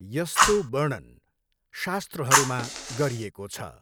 यस्तो वर्णन शास्त्रहरूमा गरिएको छ।